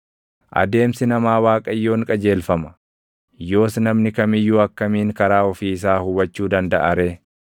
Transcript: Adeemsi namaa Waaqayyoon qajeelfama. Yoos namni kam iyyuu akkamiin karaa ofii isaa hubachuu dandaʼa ree?